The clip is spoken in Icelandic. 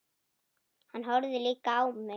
Hann horfði líka á mig.